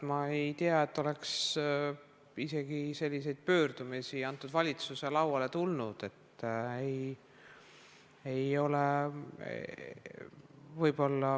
Ma ei tea, et oleks isegi selliseid pöördumisi valitsuse lauale tulnud.